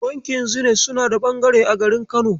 Bankin Zenith suna da ɓangare a garin Kano.